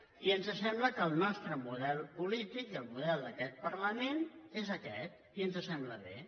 i ens sembla que el nostre model polític i el model d’aquest parlament és aquest i ens sembla bé